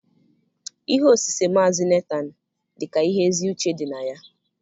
Ihe osise Maazị Netaan dị ka ihe ezi uche dị na ya